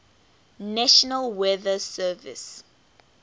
national weather service